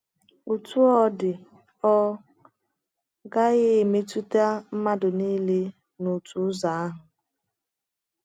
Otú ọ dị, ọ gaghị emetụta mmadụ nile n’otu ụzọ ahụ.